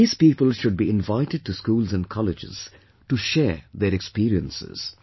These people should be invited to schools and colleges to share their experiences